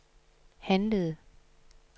handlede